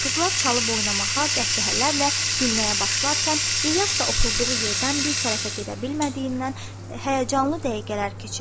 Qızlar çalıb oynamağa, qəhqəhələrlə gülməyə başlarkən İlyas da oturduğu yerdən bir tərəfə gedə bilmədiyindən həyəcanlı dəqiqələr keçirirdi.